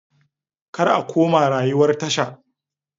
Kar a koma rayuwar tasha.